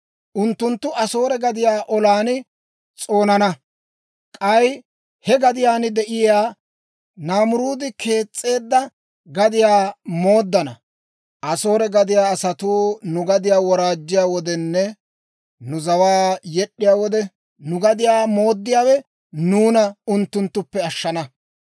Unttunttu Asoore gadiyaa olan s'oonana; k'ay he gadiyaan de'iyaa Naamiruudi kees's'eedda gadiyaa mooddana. Asoore gadiyaa asatuu nu gadiyaa woraajjiyaa wodenne nu zawaakka yed'd'iyaa wode, nu gadiyaa mooddiyaawe nuuna unttunttuppe ashshana.